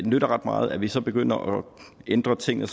nytter ret meget at vi så begynder at ændre tingene